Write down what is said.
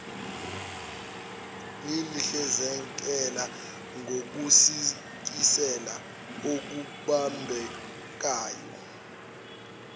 lihlinzekela ngokusikisela okubambekayo